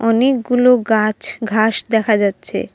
অনেকগুলো গাছ ঘাস দেখা যাচ্ছে।